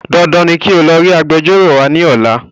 Dandan ni kí o lọ rí Agbẹjọ́rò wa ní ọ̀la